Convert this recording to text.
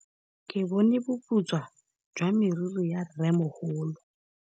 Ke bone boputswa jwa meriri ya rrêmogolo.